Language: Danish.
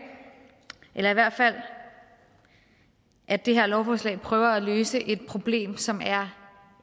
eller i hvert fald at det her lovforslag prøver at løse et problem som er